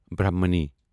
برٛہمنی